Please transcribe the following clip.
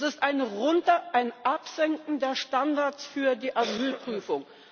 Das ist ein Herunter, ein Absenken der Standards für die Asylprüfung.